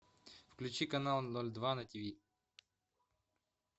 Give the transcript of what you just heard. включи канал ноль два на тв